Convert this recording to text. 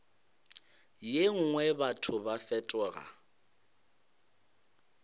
ye nngwe batho ba fetoga